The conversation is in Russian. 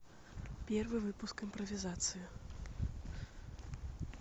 первый выпуск импровизации